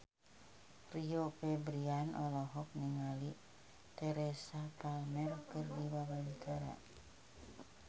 Rio Febrian olohok ningali Teresa Palmer keur diwawancara